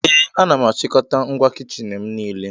Ee, ana m achịkọta ngwa kichin m niile